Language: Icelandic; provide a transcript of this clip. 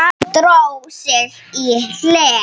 Dró sig í hlé.